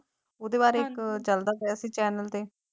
ਉਹਦੇ ਬਾਰੇ ਇੱਕ ਚੱਲਦਾ ਪਿਆ ਸੀ channel ਤੇ